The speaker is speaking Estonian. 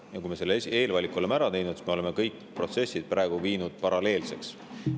kui me selle eelvaliku oleme ära teinud, me oleme kõik protsessid viinud paralleelseks.